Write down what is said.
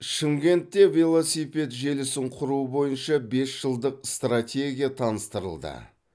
шымкентте велосипед желісін құру бойынша бес жылдық стратегия таныстырылды